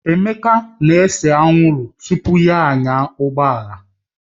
Emeka na-ese anwụrụ tupu ya anya ụgbọala